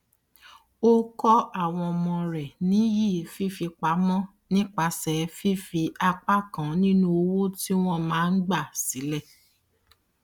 ó kọ àwọn ọmọ rẹ níyì fífipamọ nípasẹ fífi apá kan ninu owó tí wọn máa ń gba sílẹ